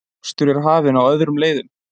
Mokstur er hafin á öðrum leiðum